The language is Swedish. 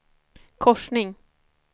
korsning